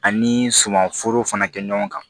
Ani sumanforo fana kɛ ɲɔgɔn kan